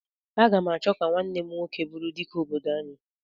Aga m achọ ka nwanne m nwoke bụrụ Dike obodo anyị.